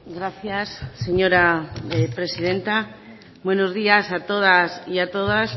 gracias señora presidenta buenos días a todas